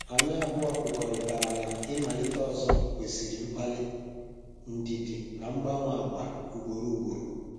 Anyị abụọ kwekọrịtara na ị malite ọzọ kwesịrị mgbalị, ndidi na mgbanwe agwa ugboro ugboro.